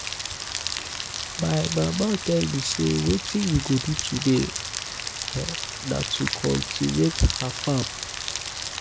my mama um tell um me say wetin we go do today na um to cultivate her farm